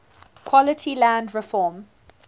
quality land reform